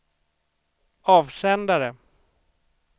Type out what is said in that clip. avsändare